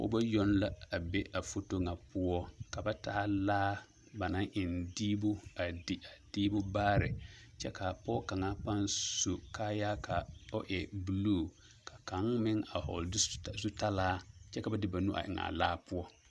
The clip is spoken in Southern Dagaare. Pɔɡebɔ yoŋ la a be a foto ŋa poɔ ka ba taa laa ba naŋ eŋ diibu a di a diibu baare kyɛ ka a pɔɡe kaŋa paŋ su kaayaa ka o e buluu ka kaŋ meŋ vɔɔle zutalaa kyɛ ka ba de ba nu eŋ a laa poɔ.